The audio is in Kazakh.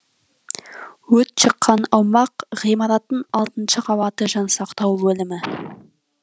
өрт шыққан аумақ ғимараттың алтыншы қабаты жансақтау бөлімі